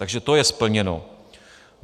Takže to je splněno.